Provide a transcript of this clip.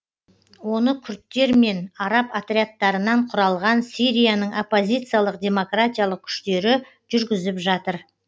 оны күрдтер мен араб отрядтарынан құралған сирияның оппозициялық демократиялық күштері жүргізіп жатыр